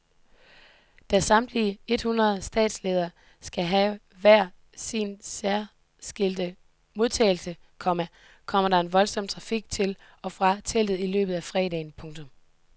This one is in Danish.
Da samtlige ethundrede statsledere skal have hver sin særskilte modtagelse, komma kommer der en voldsom trafik til og fra teltet i løbet af fredagen. punktum